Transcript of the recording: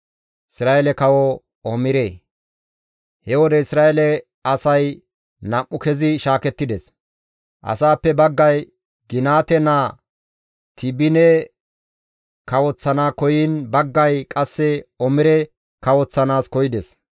He wode Isra7eele asay nam7u kezi shaakettides. Asaappe baggay Ginaate naa Tiibine kawoththana koyiin baggay qasse Omire kawoththanaas koyides.